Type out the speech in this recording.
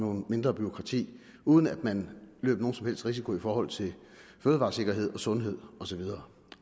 og mindre bureaukrati uden at man løb nogen som helst risiko i forhold til fødevaresikkerhed sundhed og så videre